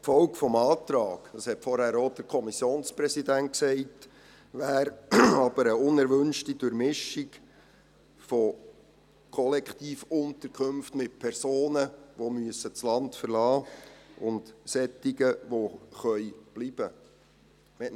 Die Folge dieses Antrags – das hat vorhin auch der Kommissionspräsident gesagt – wäre aber eine unerwünschte Durchmischung in Kollektivunterkünften von Personen, die das Land verlassen müssen, und solchen, die bleiben können.